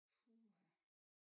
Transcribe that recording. Puha